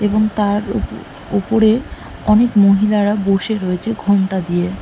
এবং তার উ-উপরে অনেক মহিলারা বসে রয়েছে ঘোমটা দিয়ে।